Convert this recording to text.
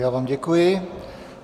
Já vám děkuji.